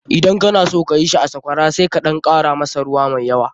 Idan kana son ka yi shi a Sakwara sai ka ɗan kara masa ruwa mai yawa.